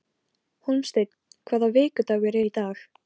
Hólmsteinn, hvaða vikudagur er í dag?